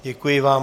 Děkuji vám.